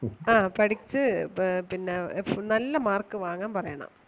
ആ പഠിച്ച് ആഹ് പിന്നേ നല്ല mark വാങ്ങാൻ പറയണം.